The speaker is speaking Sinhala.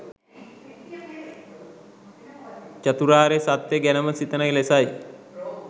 චතුරාර්ය සත්‍ය ගැනම සිතන ලෙසයි.